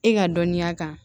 E ka dɔnniya kan